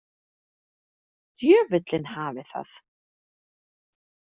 Djöfullinn hafi það.